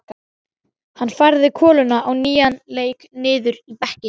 Hann færði koluna á nýjan leik niður í bekkinn.